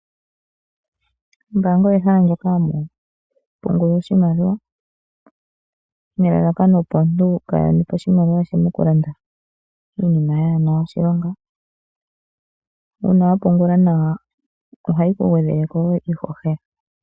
Ombaanga ehala moka ha muu pungulwa oshimaliwa, nelakakano opo omuntu kaa ha kanithe oshimaliwa she moku landa iinima yaa hena oshilonga. Uuna wa pungula nawa oha yi ku gwedhele ko woo iihohela.